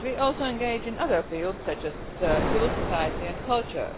We also engage in other fields, such as civil society and culture.